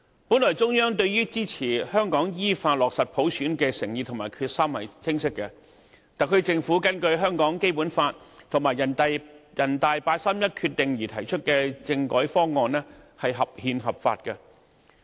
本來，中央對支持香港依法落實普選的誠意和決心是清晰的，特區政府根據香港《基本法》和人大常委會八三一決定而提出的政改方案是合憲、合法的。